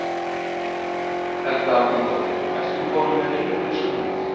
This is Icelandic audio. Helga Arnardóttir: Ert þú komin með vinnu fyrir sumarið?